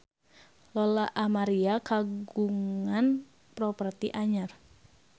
Lola Amaria kagungan properti anyar